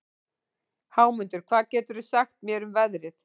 Hámundur, hvað geturðu sagt mér um veðrið?